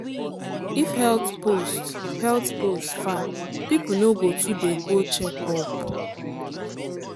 if health post health post far people no go too dey do checkup.